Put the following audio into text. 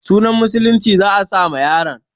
Sunan musulunci za a sa ma yaron.